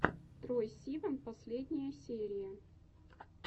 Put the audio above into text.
трой сиван последняя серия